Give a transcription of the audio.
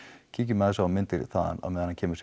kíkjum aðeins á myndir þaðan á meðan hann kemur sér